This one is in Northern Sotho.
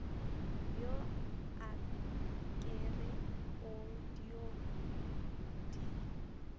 yo akere o dio di